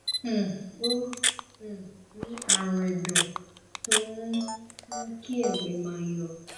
um ó um ní àrùn ẹdọ tó um ń mú kí ẹgbẹ máa yọ